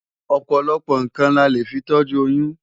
Ọ̀pọ̀lọpọ̀ nǹkan la lè fi tọ́jú oyún.